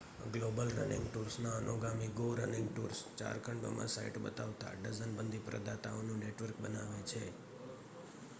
global Running ટૂર્સના અનુગામી Go Running Tours ચાર ખંડોમાં સાઇટ બતાવતા ડઝનબંધી પ્રદાતાઓનું નેટવર્ક બનાવે છે